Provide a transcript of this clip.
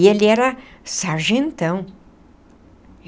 E ele era sargentão.